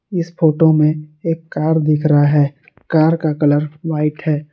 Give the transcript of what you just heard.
इस फोटो में एक कार दिख रहा है कार का कलर व्हाइट है।